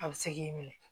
A bɛ se k'i minɛ